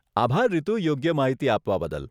આભાર રીતુ, યોગ્ય માહિતી આપવા બદલ.